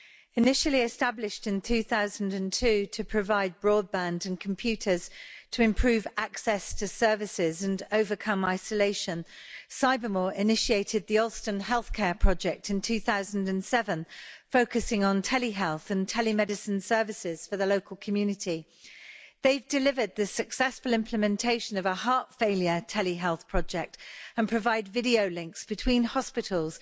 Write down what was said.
Initially established in 2002 to provide broadband and computers to improve access to services and overcome isolation, Cybermoor initiated the Alston Health Care project in 2007 focusing on telehealth and telemedicine services for the local community. They've delivered the successful implementation of a heart failure telehealth project and provide video links between hospitals